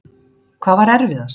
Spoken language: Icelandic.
Hvað var erfiðast?